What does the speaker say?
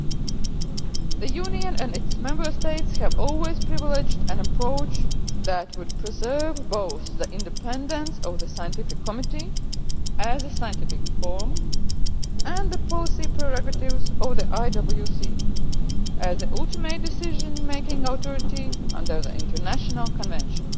The European Union and its Member States have always favoured an approach that would preserve both the independence of the Scientific Committee, as a scientific forum, and the policy prerogatives of the IWC as the ultimate decision making authority under the International Convention.